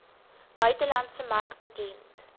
buitelandse mark bekend